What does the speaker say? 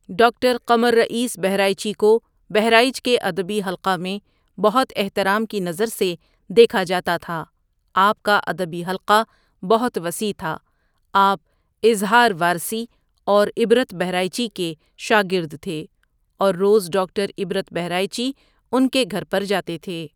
Doctor Qamar Rais Bahraichi کا بہرائچ کے ادبی حلقہ میں بہت احترام کی نظر سے دیکھا جاتا تھا آپ کا ادبی حلقہ بہت وسیع تھا آپ اظہار وارثیاور عبرت بہرائچی کے شاگرد تھے اور روز ڈاکٹر عبرؔت بہرائچی ان کے گھر پر جاتے تھے ۔